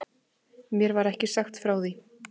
Mér var ekki sagt frá því.